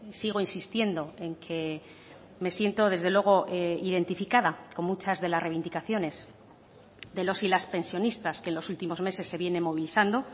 sigo insistiendo en que me siento desde luego identificada con muchas de las reivindicaciones de los y las pensionistas que en los últimos meses se viene movilizando